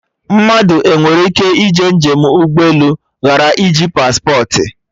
Mmadụ enwere ịke ije njem ụgbọ elu ghara iji paspportị?